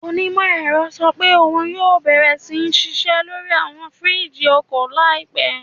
Onímọ̀-ẹ̀rọ sọ pé òun yóò bẹ̀rẹ̀ sí ṣiṣẹ́ lórí àwọn fìríìjì ọkọ̀ náà láìpẹ́